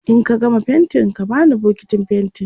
in ka gama faintin ka bani bukitin faintin